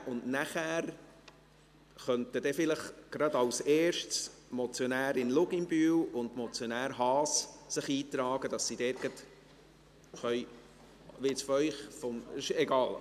Nachher könnten sich vielleicht gleich als erstes die Motionärin Luginbühl und der Motionär Haas eintragen, sodass sie gleich …– Egal.